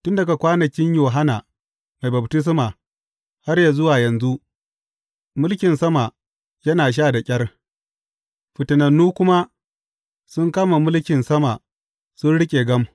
Tun daga kwanakin Yohanna Mai Baftisma har yă zuwa yanzu, mulkin sama yana sha da ƙyar, fitanannu kuma sun kama mulkin sama sun riƙe gam.